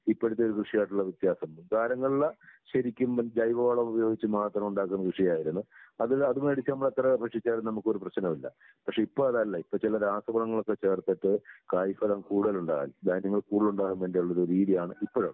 ഇപ്പഴത്തെ കൃഷിയായിട്ടുള്ള വ്യത്യാസം. മുൻകാലങ്ങളിലെ ശരിക്കും ജൈവവളമുപയോഗിച്ച് മാത്രം ഉണ്ടാക്കുന്ന കൃഷിയായിരുന്നു. അത് അത് മേടിച്ച് എത്ര ഭക്ഷിച്ചാലും നമുക്കൊരു പ്രശ്നവും ഇല്ല. പക്ഷെ ഇപ്പൊ അതല്ല, ഇപ്പൊ ചില രാസവളങ്ങളൊക്കെ ചേർത്തിട്ട് കായ്ഫലം കൂടുതൽ ഉണ്ടാവാൻ ധാന്യങ്ങൾ കൂടുതൽ ഉണ്ടാവാൻ വേണ്ടിയുള്ള രീതിയാണ് ഇപ്പോഴുള്ളത്.